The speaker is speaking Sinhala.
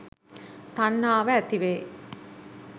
තණ්හාව ඇති වෙයි